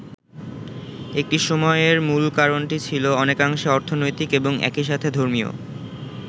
একটি সময় এর মূল কারণটি ছিল অনেকাংশে অর্থনৈতিক এবং একই সাথে ধর্মীয়।